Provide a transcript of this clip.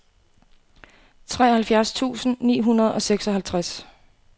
treoghalvfjerds tusind ni hundrede og seksoghalvtreds